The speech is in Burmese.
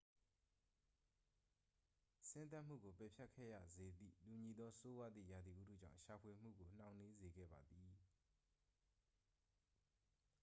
ဆင်းသက်မှုကို ပယ်ဖျက်ခဲ့ရစေသည့် တူညီသော ဆိုးဝါးသည့် ရာသီဥတုကြောင့် ရှာဖွေမှုကို နှောင့်နှေးစေခဲ့ပါသည်